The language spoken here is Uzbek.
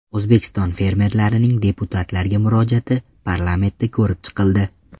O‘zbekiston fermerlarining deputatlarga murojaati parlamentda ko‘rib chiqildi.